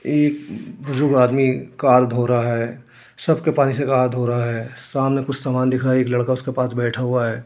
एक बुजुर्ग आदमी कार धो रहा है सर्फ के पानी से कार धो रहा है। सामने कुछ सामान दिख रहा है एक लड़का उसके पास बैठा हुआ है।